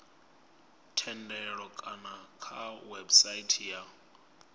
thendelo kana kha website ya